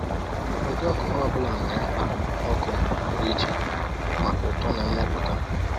“Ụdị ọkụkọ ọ bụla nwere mkpa ọkụ pụrụ iche maka uto na mmepụta.”